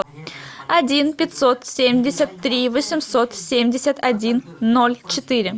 один пятьсот семьдесят три восемьсот семьдесят один ноль четыре